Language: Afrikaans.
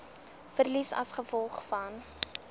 verliese as gevolg